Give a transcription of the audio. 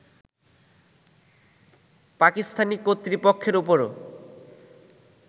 পাকিস্তানি কর্তৃপক্ষের ওপরও